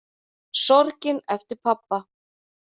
Sorgin eftir pabba.